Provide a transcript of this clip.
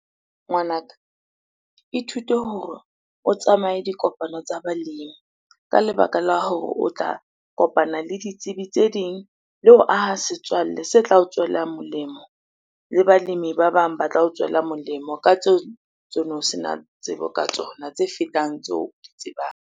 Ngwanaka, ithute hore o tsamaye dikopano tsa balemi. Kaa lebaka la hore o tla kopana le ditsebi tse ding le ho aha setswalle se tla o tswela molemo le balemi ba bang ba tla o tswela molemo ka tseo tsono sena tsebo ka tsona, tse fetang tseo o di tsebang.